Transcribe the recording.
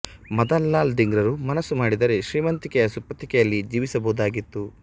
ಮದನ್ ಲಾಲ್ ಧಿಂಗ್ರರು ಮನಸ್ಸು ಮಾಡಿದ್ದರೆ ಶ್ರೀಮಂತಿಕೆಯ ಸುಪ್ಪತ್ತಿಗೆಯಲ್ಲಿ ಜೀವಿಸಬಹುದಾಗಿತ್ತು